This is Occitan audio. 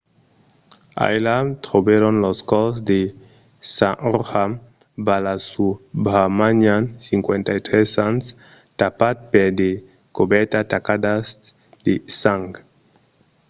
ailà trobèron lo còrs de saroja balasubramanian 53 ans tapat per de cobèrtas tacadas de sang